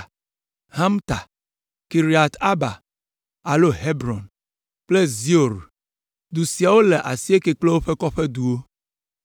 Humta, Kiriat Arba (alo Hebron) kple Zior. Dus siawo le asieke kple woƒe kɔƒeduwo.